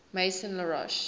maison la roche